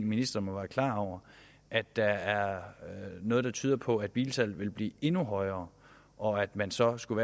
ministeren at der er noget der tyder på at bilsalget vil blive endnu højere og at man så skulle